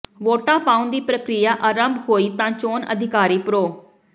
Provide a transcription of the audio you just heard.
ਵੋਟਾਂ ਪਾਉਣ ਦੀ ਪ੍ਰਕਿਰਿਆ ਆਰੰਭ ਹੋਈ ਤਾਂ ਚੋਣ ਅਧਿਕਾਰੀ ਪ੍ਰੋ